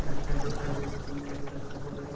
এক সাইড এ সাইড এ তিন চারটা সাদা লাইট --